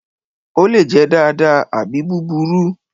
Ó lè jẹ́ dáadáa àbí búburú.